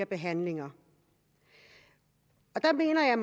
behandlingerne der mener jeg